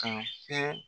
Ka fɛn